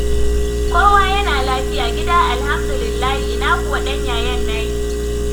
Kowa yana lafiya; gida alhamdulillahi; ina kuwa ɗan yayen naki!